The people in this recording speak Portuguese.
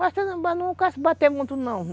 Mas não carece bate muito, não.